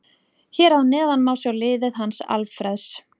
Hér að neðan má sjá liðið hans Alfreðs.